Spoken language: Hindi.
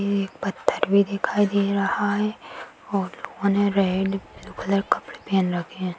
एक पत्थर भी दिखाई दे रहा है और लोगो ने रेड ब्लू कलर कपड़े पहन रखे है।